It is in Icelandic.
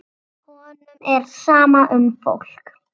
Honum er sama um fólk.